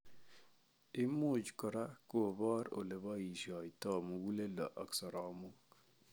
Imuch kora kobor oleboisietoi muguleldo ak soromoik